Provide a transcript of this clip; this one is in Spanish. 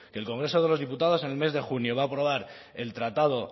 que el congreso de los diputados en el mes de junio va a aprobar el tratado